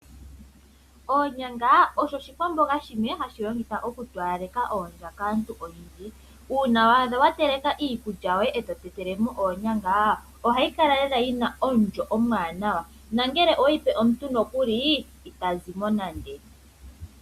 Oonyanga osho oshikwamboga shimwe ha shi longithwa, oku towaleka oondya kaantu oyendji. Uuna wa adha wa teleka iikulya yoye e to tetele mo oonyanga, oha yi kala lela yi na omulyo omwaanawa, nangele owe yi pe omuntu nookuli, ita zi mo nande.